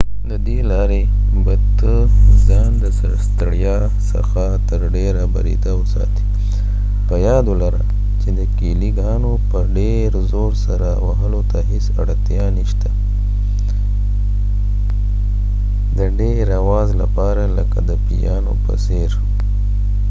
ددې لارې به ته ځان د ستړیا څخه تر ډیره بریده وساتي په یاد ولره چې د کېلی ګانو په ډیر زور سره وهلو ته هیڅ اړتیا نه شته د ډیر اواز لپاره لکه د پیانو په څیر